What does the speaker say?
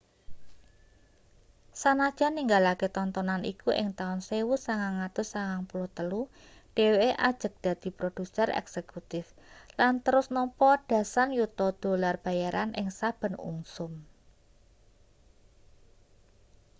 sanajan ninggalake tontonan iku ing taun 1993 dheweke ajeg dadi produser eksekutif lan terus nampa dasan yuta dolar bayaran ing saben ungsum